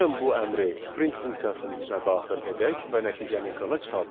Gəlin bu əmri print funksiyasının içinə daxil edək və nəticəni ekrana çıxardaq.